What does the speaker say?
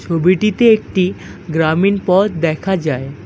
ছবিটিতে একটি গ্রামীণ পথ দেখা যায়।